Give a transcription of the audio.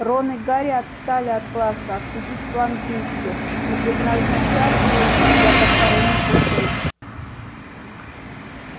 рон и гарри отстали от класса обсудить план действий не предназначавшегося для посторонних ушей